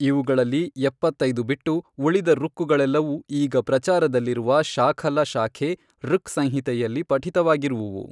ಇವುಗಳಲ್ಲಿ ಎಪ್ಪತ್ತೈದು ಬಿಟ್ಟು, ಉಳಿದ ಋಕ್ಕುಗಳೆಲ್ಲವೂ ಈಗ ಪ್ರಚಾರದಲ್ಲಿರುವ ಶಾಖಲ ಶಾಖೆ ಋಕ್ ಸಂಹಿತೆಯಲ್ಲಿ ಪಠಿತವಾಗಿರುವುವು.